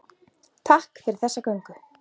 Takk fyrir þessa göngu.